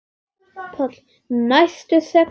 PÁLL: Nær sextíu.